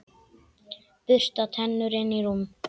Bursta tennur, inn í rúm.